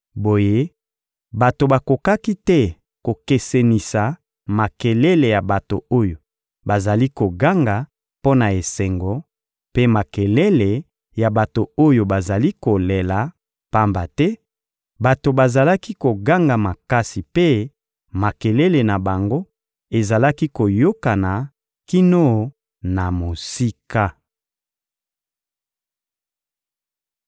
Boye bato bakokaki te kokesenisa makelele ya bato oyo bazali koganga mpo na esengo mpe makelele ya bato oyo bazali kolela, pamba te bato bazalaki koganga makasi mpe makelele na bango ezalaki koyokana kino na mosika.